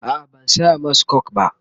a'a ban saya masu coke ba.